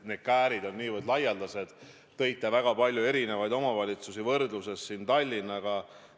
Te tõite näiteks väga palju omavalitsusi võrdluses Tallinnaga.